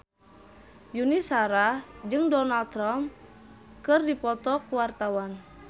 Yuni Shara jeung Donald Trump keur dipoto ku wartawan